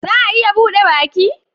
Za a iya bude baki?